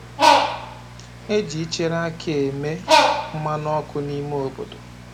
E ji ịchere akị e me mmanụ ọkụ nime obodo